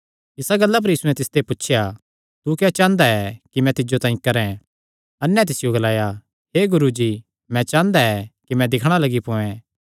इसा गल्ला पर यीशुयैं तिसियो पुछया तू क्या चांह़दा ऐ कि मैं तिज्जो तांई करैं अन्ने तिसियो ग्लाया हे गुरू मैं चांह़दा कि मैं दिक्खणा लग्गी पोयैं